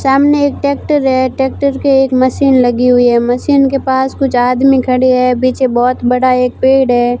सामने एक ट्रैक्टर है ट्रैक्टर पे एक मशीन लगी हुई है मशीन के पास कुछ आदमी खड़े है पीछे बहुत बड़ा एक पेड़ है।